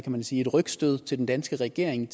man sige et rygstød til den danske regering